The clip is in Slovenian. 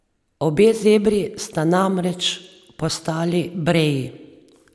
Obe zebri sta namreč postali breji.